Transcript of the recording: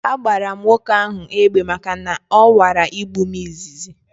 A gbara m nwoke ahu egbe maka na ọ nwara igbu m izizi